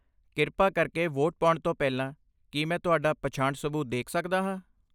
ਕਿਰਪਾ ਕਰਕੇ ਵੋਟ ਪਾਉਣ ਤੋਂ ਪਹਿਲਾਂ ਕੀ ਮੈਂ ਤੁਹਾਡਾ ਪਛਾਣ ਸਬੂਤ ਦੇਖ ਸਕਦਾ ਹਾਂ?